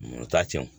O t'a tiɲɛ